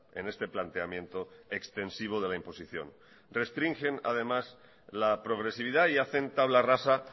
en este planteamiento extensivo de la imposición restringen además la progresividad y hacen tabla rasa